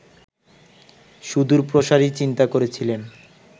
সুদূরপ্রসারী চিন্তা করেছিলেন